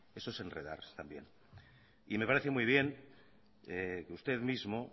eso es enredar también y me parece muy bien que usted mismo